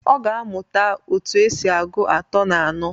Ọ ga-amuta otu esi agụ atọ na anọ.